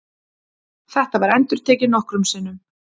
Þetta var endurtekið nokkrum sinnum.